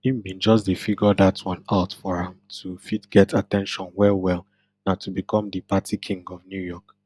im bin just dey figure dat one out for am to fit get at ten tion wellwell na to become di party king of new york